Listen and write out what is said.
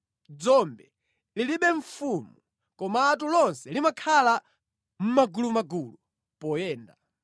dzombe lilibe mfumu, komatu lonse limakhala mʼmagulumagulu poyenda.